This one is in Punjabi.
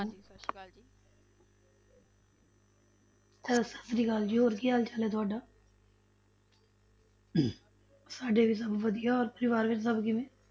ਅਹ ਸਤਿ ਸ੍ਰੀ ਅਕਾਲ ਜੀ ਹੋਰ ਕੀ ਹਾਲ ਚਾਲ ਹੈ ਤੁਹਾਡਾ ਸਾਡੇ ਵੀ ਸਭ ਵਧੀਆ, ਹੋਰ ਪਰਿਵਾਰ ਵਿੱਚ ਸਭ ਕਿਵੇੇਂ?